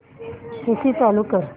AC चालू कर